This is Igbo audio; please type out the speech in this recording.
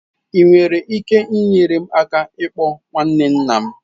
Ị nwere ike inyere m aka ịkpọ nwanne nna m?